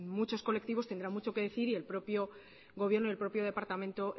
muchos colectivos tendrán mucho que decir y el propio gobierno el propio departamento